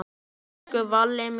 Elsku Valla mín.